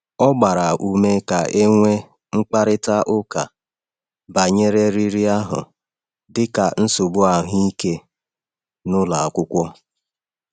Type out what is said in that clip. Ọ gbara ume ka e nwee mkparịta ụka banyere riri ahụ dị ka nsogbu ahụike n’ụlọ akwụkwọ.